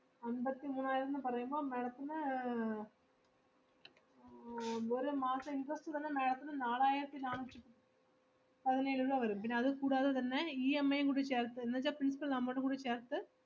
അമ്പത്തിമൂവായിരംന്ന് പറയുമ്പോ madam ത്തിന് അഹ് ആഹ് ഒരു മാസം interest തന്നെ madam ത്തിന് നാലായിരത്തിനാന്നൂറ്റി പതിനേഴ് രൂപ വരും, പിന്ന അത് കൂടാതെ തന്നെ EMI യും കൂടി ചേർത്ത് എന്ന് വെച്ചാ principle amount കൂടി ചേർത്ത്